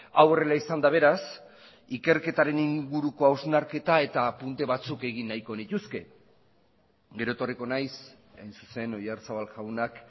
hau horrela izanda beraz ikerketaren inguruko hausnarketa eta apunte batzuk egin nahiko nituzke gero etorriko naiz hain zuzen oyarzabal jaunak